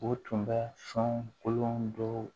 O tun bɛ sɔn kolon dɔw